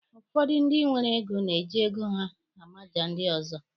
Ụfọdụ ndị nwere ego na-eji ego ha amaja ndị ọzọ.